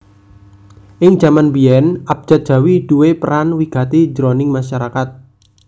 Ing jaman biyèn abjad jawi duwé peran wigati jroning masarakat